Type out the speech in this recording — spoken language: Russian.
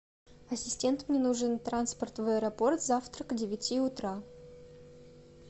ассистент мне нужен транспорт в аэропорт завтра к девяти утра